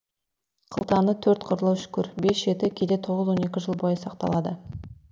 қылтаны төрт қырлы үшкір бес жеті кейде тоғыз он екі жыл бойы сақталады